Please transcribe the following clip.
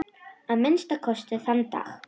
Að minnsta kosti þann dag.